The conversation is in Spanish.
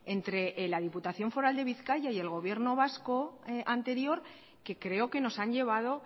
entre la diputación foral de bizkaia y el gobierno vasco anterior que creo que nos han llevado